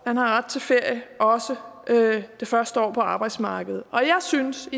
man har ret til ferie også det første år på arbejdsmarkedet og jeg synes